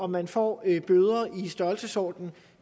man får bøder i størrelsesordenen